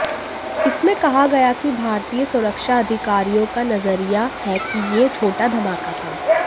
इसमें कहा गया कि भारतीय सुरक्षा अधिकारियों का नजरिया है कि यह छोटा धमाका था